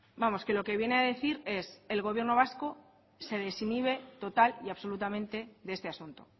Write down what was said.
vamos que lo que viene a decir es que el gobierno vasco se desinhibe total y absolutamente de este asunto